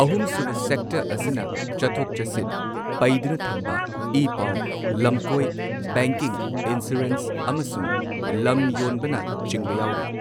ꯑꯍꯨꯝ sub sector ꯑꯁꯤꯅ ꯆꯠꯊꯣꯛ ꯆꯠꯁꯤꯟ, ꯄꯩꯗꯨꯅ ꯊꯝꯕ, ꯏ ꯄꯥꯎ, ꯂꯝꯀꯣꯏ, ꯕꯦꯡꯀꯤꯡ, ꯏꯟꯁꯨꯔꯦꯟꯁ, ꯑꯃꯁꯨꯡ ꯂꯝ ꯌꯣꯟꯕꯅ ꯆꯤꯡꯕ ꯌꯥꯎꯔꯤ꯫